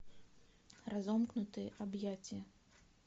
разомкнутые объятия